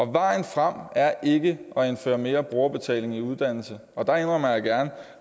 vejen frem er ikke at indføre mere brugerbetaling i uddannelserne og der indrømmer jeg gerne